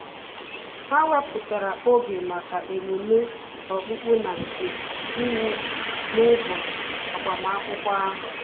Ha wepụtara oge maka emume okpukpe na-nke iwu n'ụbọchị agbamakwụkwọ ahu